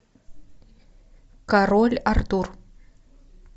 король артур